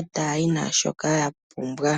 etaya yi naashoka yapumbwa.